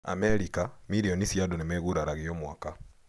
Amerika, mirioni cia andũ nĩmeguraragia o mwaka.